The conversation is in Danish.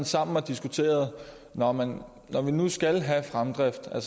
sammen og diskuterede at når man nu skal have fremdrift og